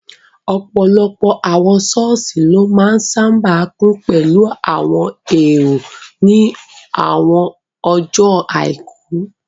Ọ̀pọ̀lọpọ̀ àwọn sọ́ọ̀sì ló máa n sáábà kún pẹ̀lú àwọn èrò ní àwọn ọjọ́ àìkú